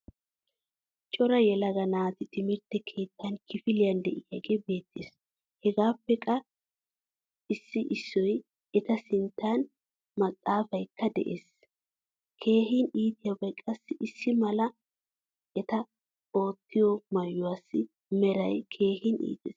Cora yelaga naati timirtte keettan kifiliyan deiyoge beetees. Hegaappe qa ssi issoy eta sinttan maxaafaykka de'ees. Keehin iitiyabay qassi issimala eta ooottiya maayuwasi meray keehin iittees.